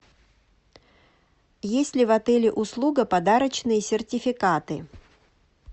есть ли в отеле услуга подарочные сертификаты